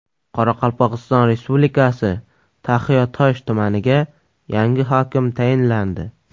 Qoraqalpog‘iston Respublikasi Taxiatosh tumaniga yangi hokim tayinlandi.